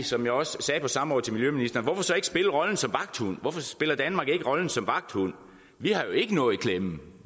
som jeg også sagde på samrådet til miljøministeren hvorfor så ikke spille rollen som vagthund hvorfor spiller danmark ikke rollen som vagthund vi har jo ikke noget i klemme